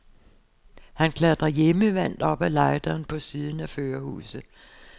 Han klatrer hjemmevant op af lejderen på siden af førerhuset.